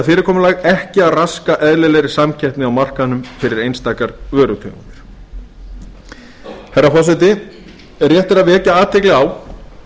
fyrirkomulag ekki að raska eðlilegri samkeppni á markaðnum fyrir einstakar vörutegundir herra forseti rétt er að vekja athygli á